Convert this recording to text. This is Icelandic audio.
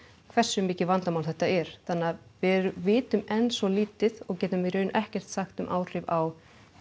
hversu mikið vandamál þetta er þannig að við vitum enn svo lítið og getum í raun ekkert sagt um áhrif á